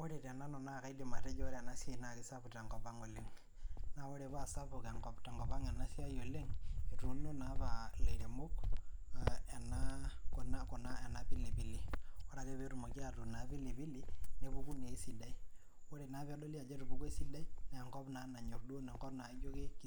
Ore te nanu naa kaidim atejo kisapuk ena siai oleng tenkop ang naa ore pa sapuk tenkop ang enasiai naa etunoo naa apa elairemok ena pilipili ore ake pee ewun ena pilipili nepuku naa esidai ore na pee edoli naa ejo etupuokuo esidai naa enkop